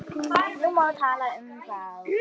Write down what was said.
Nú má tala um þá.